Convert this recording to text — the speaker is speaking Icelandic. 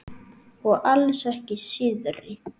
Og alls ekki síðri.